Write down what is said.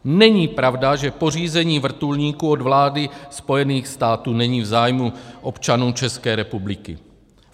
Není pravda, že pořízení vrtulníků od vlády Spojených států není v zájmu občanů České republiky.